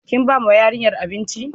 Kinbawa yarinyar abinci?